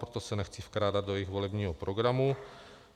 Proto se nechci vkrádat do jejich volebního programu.